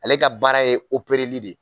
Ale ka baara ye de ye.